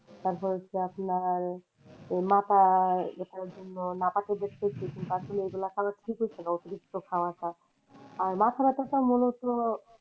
তারপর হচ্ছে আপনার মাথা ব্যাথার জন্য আর মাথা ব্যাথা টা মনে হচ্ছিলো,